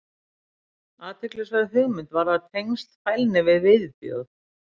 athyglisverð hugmynd varðar tengsl fælni við viðbjóð